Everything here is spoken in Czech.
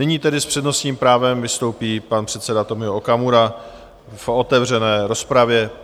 Nyní tedy s přednostním právem vystoupí pan předseda Tomio Okamura v otevřené rozpravě.